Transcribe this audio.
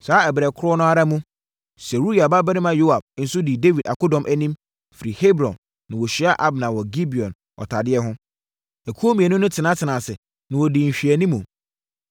Saa ɛberɛ korɔ no ara mu, Seruia babarima Yoab nso dii Dawid akodɔm anim, firi Hebron na wɔhyiaa Abner wɔ Gibeon ɔtadeɛ ho. Akuo mmienu no tenatenaa ase a na wɔdi nhwɛanimu.